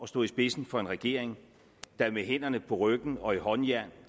stå i spidsen for en regering der med hænderne på ryggen og i håndjern